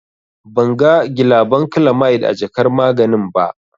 Ban ga gilabankilamid a jakar maganin ba.